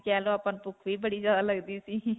ਹੀ ਕਹਿ ਲੋ ਆਪਾਂ ਨੂੰ ਭੁੱਖ ਵੀ ਬੜੀ ਜਿਆਦਾ ਲਗਦੀ ਸੀ.